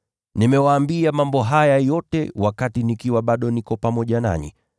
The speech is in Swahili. “Nimewaambia mambo haya yote wakati bado niko pamoja nanyi.